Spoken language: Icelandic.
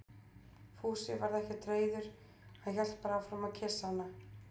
Fúsi varð ekkert reiður, hann hélt bara áfram að kyssa hana.